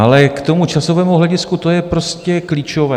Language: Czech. Ale k tomu časovému hledisku, to je prostě klíčové.